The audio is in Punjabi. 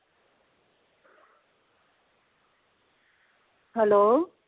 ਹੈਲੋ